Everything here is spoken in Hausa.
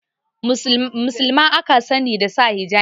Musulma aka sani da saka hijabi